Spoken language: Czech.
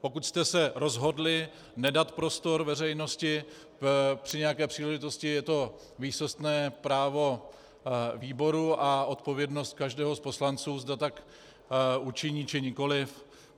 Pokud jste se rozhodli nedat prostor veřejnosti při nějaké příležitosti, je to výsostné právo výboru a odpovědnost každého z poslanců, zda tak učiní, či nikoli.